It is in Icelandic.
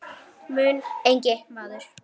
mun engi maður